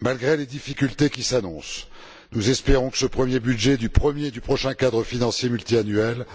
Malgré les difficultés qui s'annoncent, nous espérons que ce premier budget du prochain cadre financier pluriannuel